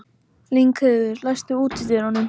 Lyngheiður, læstu útidyrunum.